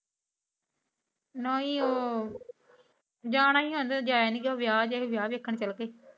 ਨਹੀਂ ਉਹ ਜਾਨਾ ਹੀ ਆ, ਜਾਇਆ ਨਹੀਂ ਗਿਆ, ਵਿਆਹ ਜੇਹਾ ਸੀ ਵਿਆਹ ਦੇਖਣ ਚਲੇ ਗਏ।